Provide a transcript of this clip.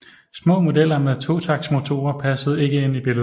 Små modeller med totaktsmotorer passede ikke ind i billedet